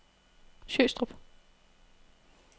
Sjøstrup